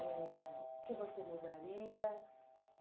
eh... O que você mudaria?